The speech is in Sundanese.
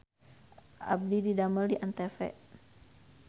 Abdi didamel di ANTV